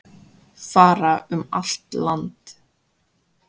Fara um allt land